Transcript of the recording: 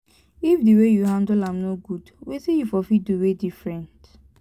if di way yu handle am no gud wetin yu for fit do wey diffrent